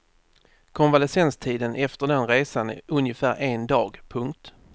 Konvalescenstiden efter den resan är ungefär en dag. punkt